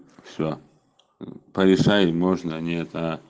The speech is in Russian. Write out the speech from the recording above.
все порешаем можно нет а